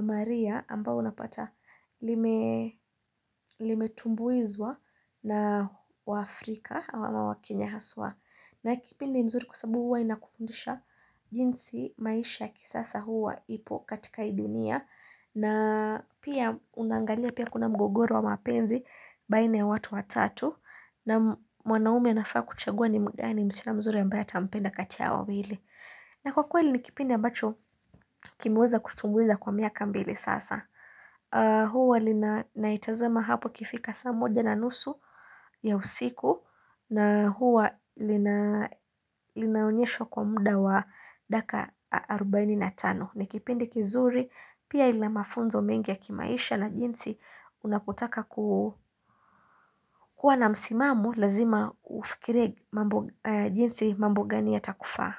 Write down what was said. Maria ambao unapata limetumbuizwa na waAfrika ama wakenya haswa. Na kipindi mzuri kwa sabu hua inakufundisha jinsi maisha ya kisasa hua ipo katika hii dunia. Na pia unaangalia pia kuna mgogoro wa mapenzi baina ya watu watatu naam, mwanaume anafaa kuchagua ni mgani msichana mzuri ambaye atampenda kati ya wawili na kwa kweli ni kipindi ambacho kimeweza kutumbuiza kwa miaka mbili sasa huwa naitazama hapo ikifika saa moja na nusu, ya usiku na huwa linaonyeshwa kwa muda wa daka arobaini na tano. Ni kipindi kizuri pia ina mafunzo mengi ya kimaisha na jinsi unapotaka ku kuwa na msimamo lazima ufikirie jinsi mambo gani yatakufaa.